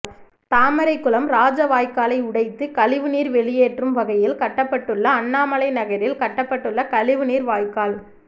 தாமரைக்குளம் ராஜவாய்க்காலை உடைத்து கழிவுநீா் வெளியேற்றும் வகையில் கட்டப்பட்டுள்ள அண்ணாமலைநகரில் கட்டப்பட்டுள்ள கழிவுநீா் வாய்க்கால்